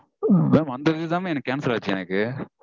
Mam அந்த இதுதா mam எனக்கு cancel ஆச்சு எனக்கு